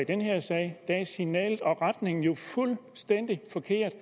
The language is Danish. i den her sag er signalet og retningen jo fuldstændig forkert